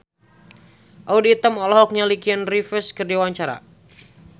Audy Item olohok ningali Keanu Reeves keur diwawancara